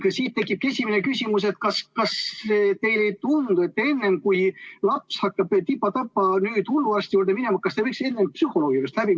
Siit tekibki esimene küsimus: kas teile ei tundu, et enne kui laps hakkab tipa-tapa hulluarsti juurde minema, võiks ta psühholoogi juurest läbi käia?